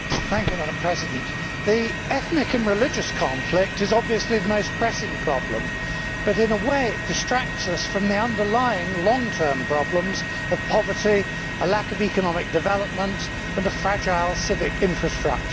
Madam President, the ethnic and religious conflict is obviously the most pressing problem, but in a way it distracts us from the underlying long term problems of poverty, a lack of economic development and a fragile civic infrastructure.